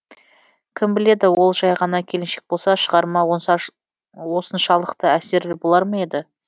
кім біледі ол жай ғана келіншек болса шығарма осыншалықты әсерлі болар ма еді